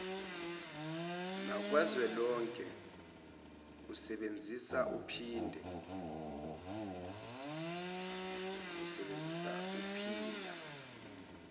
nakazwelonke useebnzisa uphinda